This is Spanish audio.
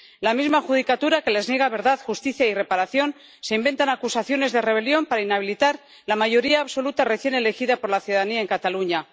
La misma judicatura que les niega verdad, justicia y reparación se inventa acusaciones de rebelión para inhabilitar la mayoría absoluta recién elegida por la ciudadanía en Cataluña.